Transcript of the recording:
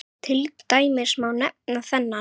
Til dæmis má nefna þennan